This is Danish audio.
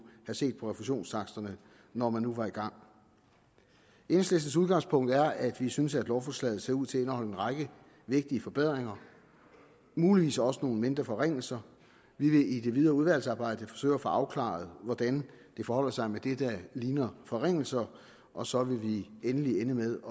have set på refusionstaksterne når man nu var i gang enhedslistens udgangspunkt er at vi synes lovforslaget ser ud til at indeholde en række vigtige forbedringer og muligvis også nogle mindre forringelser vi vil i det videre udvalgsarbejde forsøge at få afklaret hvordan det forholder sig med det der ligner forringelser og så vil vi ende med at